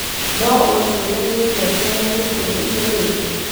no unjĩre nĩ ngengereĩrĩkũ njĩkĩrĩte